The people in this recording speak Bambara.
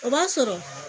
O b'a sɔrɔ